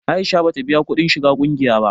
Aisha ba ta biya kuɗin shiga ƙungiya ba